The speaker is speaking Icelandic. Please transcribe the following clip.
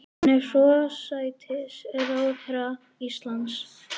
Hún er forsætisráðherra Íslands.